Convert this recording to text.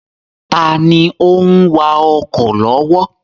Taàní òun wà ọkọ̀ lọ́wọ́?